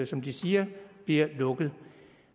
som de siger bliver lukket